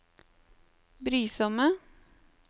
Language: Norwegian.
brysomme